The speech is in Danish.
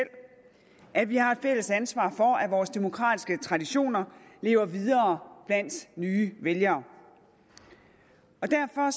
at vi har et fælles ansvar for at vores demokratiske traditioner lever videre blandt nye vælgere derfor er